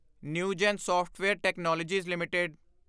Newgen software technologies LTD